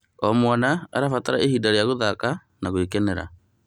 O mwana arabatara ihinda rĩa gũthaka na gũkenera.